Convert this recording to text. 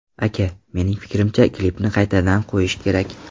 Aka, mening fikrimcha, klipni qaytadan qo‘yish kerak.